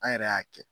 An yɛrɛ y'a kɛ